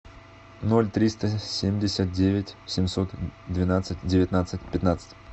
ноль триста семьдесят девять семьсот двенадцать девятнадцать пятнадцать